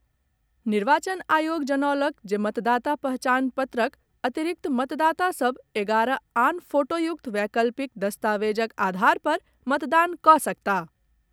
निर्वाचन आयोग जनौलक जे मतदाता पहचान पत्रक अतिरिक्त मतदाता सभ एगारह आन फोटोयुक्त वैकल्पिक दस्तावेजक आधार पर मतदान कऽ सकताह।